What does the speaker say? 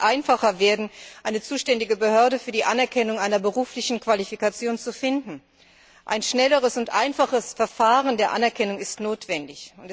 Es muss einfacher werden, eine zuständige Behörde für die Anerkennung einer beruflichen Qualifikation zu finden. Ein schnelleres und einfacheres Verfahren der Anerkennung ist notwendig.